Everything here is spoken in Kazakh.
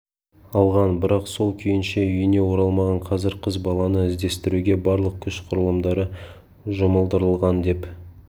алған бірақ сол күйінше үйіне оралмаған қазір қыз баланы іздестіруге барлық күш құрылымдары жұмылдырылған деп